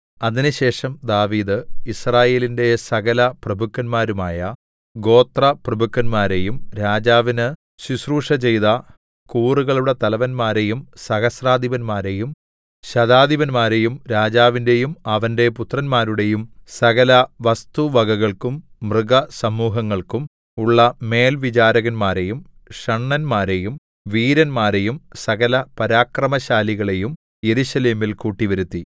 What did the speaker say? അതിനുശേഷം ദാവീദ് യിസ്രായേലിന്റെ സകലപ്രഭുക്കന്മാരുമായ ഗോത്രപ്രഭുക്കന്മാരെയും രാജാവിന് ശുശ്രൂഷചെയ്ത കൂറുകളുടെ തലവന്മാരെയും സഹസ്രാധിപന്മാരെയും ശതാധിപന്മാരെയും രാജാവിന്റെയും അവന്റെ പുത്രന്മാരുടെയും സകലവസ്തുവകകൾക്കും മൃഗസമൂഹങ്ങൾക്കും ഉള്ള മേൽവിചാരകന്മാരെയും ഷണ്ഡന്മാരെയും വീരന്മാരെയും സകലപരാക്രമശാലികളേയും യെരൂശലേമിൽ കൂട്ടിവരുത്തി